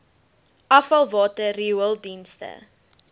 afvalwater riool dienste